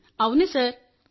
అవును సార్